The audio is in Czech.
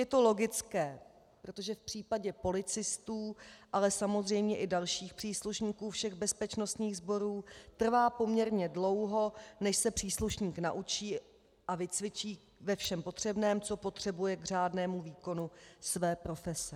Je to logické, protože v případě policistů, ale samozřejmě i dalších příslušníků všech bezpečnostních sborů trvá poměrně dlouho, než se příslušník naučí a vycvičí ve všem potřebném, co potřebuje k řádnému výkonu své profese.